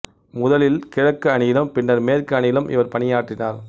முதலில் கிழக்கு அணியிலும் பின்னர் மேற்கு அணியிலும் இவர் பணியாற்றினார்